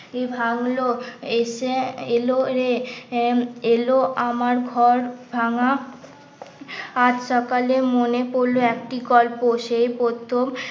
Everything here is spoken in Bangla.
কি ভাঙলো এসে এলো রে এ এলো আমার ঘর ভাঙ্গা আজ সকালে মনে পড়লো একটি গল্প সেই প্রথম